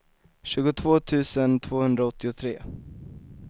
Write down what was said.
tjugotvå tusen tvåhundraåttiotre